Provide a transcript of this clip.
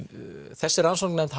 þessari rannsóknarnefnd